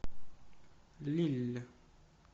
лилль